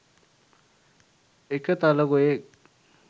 එක තලගොයෙක්